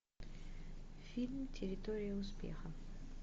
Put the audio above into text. фильм территория успеха